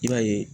I b'a ye